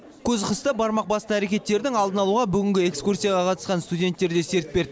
көз қысты бармақ басты әрекеттердің алдын алуға бүгінгі экскурсияға қатысқан студенттер де серт берді